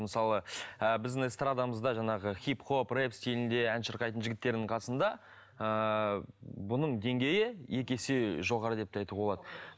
мысалы ыыы біздің эстрадамызда жаңағы хип хоп рэп стильінде ән шырқайтын жігіттердің қасында ыыы бұның деңгейі екі есе жоғары деп те айтуға болады